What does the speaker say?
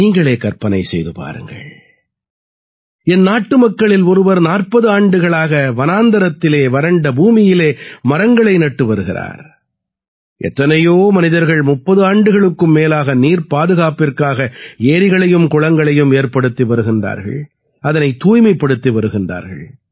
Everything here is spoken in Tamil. நீங்களே கற்பனை செய்து பாருங்கள் என் நாட்டுமக்களில் ஒருவர் 40 ஆண்டுகளாக வனாந்திரத்திலே வறண்ட பூமியிலே மரங்களை நட்டு வருகிறார் எத்தனையோ மனிதர்கள் 30 ஆண்டுகளுக்கும் மேலாக நீர் பாதுகாப்பிற்காக ஏரிகளையும் குளங்களையும் ஏற்படுத்தி வருகிறார்கள் அதனைத் தூய்மைப்படுத்தி வருகிறார்கள்